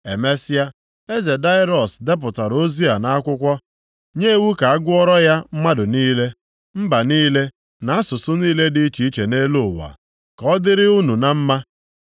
Emesịa, eze Daraiọs depụtara ozi a nʼakwụkwọ nye iwu ka a gụọra ya mmadụ niile, mba niile na asụsụ niile dị iche iche nʼelu ụwa. “Ka ọ dịrị unu na mma.